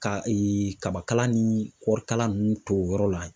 Ka kabakala ni kɔɔri kala nunnu to yɔrɔ la.